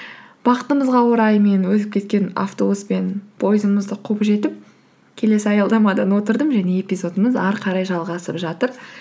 бақытымызға орай мен өтіп кеткен автобус пен поездымызды қуып жетіп келесі аялдамадан отырдым және эпизодымыз ары қарай жалғасып жатыр